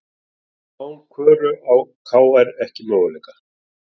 Án Köru á KR ekki möguleika